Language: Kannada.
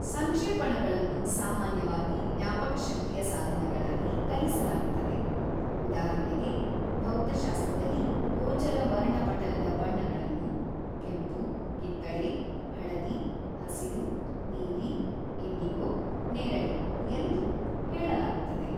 ಸಂಕ್ಷೇಪಣಗಳನ್ನು ಸಾಮಾನ್ಯವಾಗಿ ಜ್ಞಾಪಕಶಕ್ತಿಯ ಸಾಧನಗಳಾಗಿ ಕಲಿಸಲಾಗುತ್ತದೆ, ಉದಾಹರಣೆಗೆ ಭೌತಶಾಸ್ತ್ರದಲ್ಲಿ ಗೋಚರ ವರ್ಣಪಟಲದ ಬಣ್ಣಗಳನ್ನು ("ಕೆಂಪು-ಕಿತ್ತಳೆ-ಹಳದಿ-ಹಸಿರು-ನೀಲಿ-ಇಂಡಿಗೊ-ನೇರಳೆ") ಎಂದು ಹೇಳಲಾಗುತ್ತದೆ.